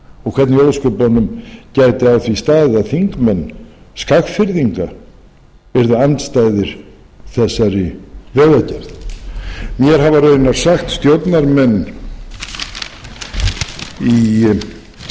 og hvernig í ósköpunum gæti á því staðið að þingmenn skagfirðinga eru andstæðir þessari vegagerð mér hafa raunar sagt stjórnarmenn í greiðri